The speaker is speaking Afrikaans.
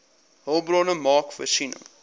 hulpbronne maak voorsiening